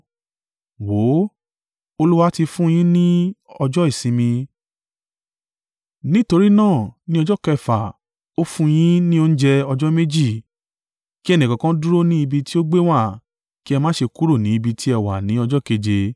Wò ó? Olúwa ti fún un yín ni ọjọ́ ìsinmi, nítorí náà, ni ọjọ́ kẹfà, ó fún un yín ni oúnjẹ ọjọ́ méjì; kí ẹnìkọ̀ọ̀kan dúró ni ibi tí ó gbé wà; kí ẹ má ṣe kúrò ni ibi tí ẹ wà ni ọjọ́ keje.”